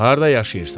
Harda yaşayırsan?